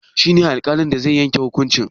Shi ne alƙalin da zai yanke hukuncin?